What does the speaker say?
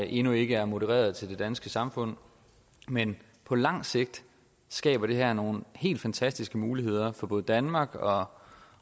endnu ikke er modereret til det danske samfund men på lang sigt skaber det her nogle helt fantastiske muligheder for både danmark og